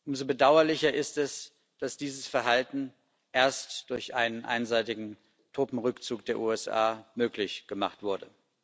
Umso bedauerlicher ist es, dass dieses Verhalten erst durch einen einseitigen Truppenrückzug der USA möglich gemacht wurde.